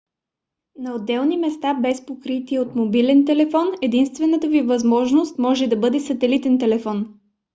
на отдалечени места без покритие от мобилен телефон единствената ви възможност може да бъде сателитен телефон